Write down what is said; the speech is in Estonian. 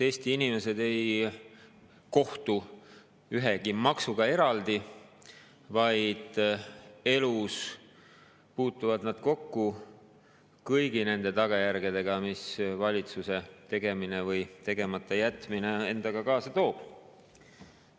Eesti inimesed ei kohtu ju ühegi maksuga eraldi, elus puutuvad nad kokku kõigi nende tagajärgedega, mida valitsuse tegemine või tegematajätmine endaga kaasa toob.